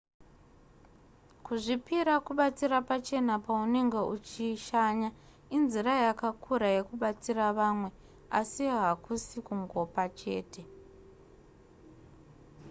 kuzvipira kubatsira pachena paunenge uchishanya inzira yakakura yekubatsira vamwe asi hakusi kungopa chete